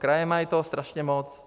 Kraje toho mají strašně moc.